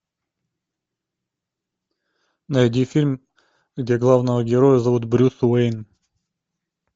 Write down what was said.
найди фильм где главного героя зовут брюс уэйн